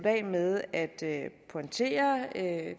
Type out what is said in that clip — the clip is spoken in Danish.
af med at pointere at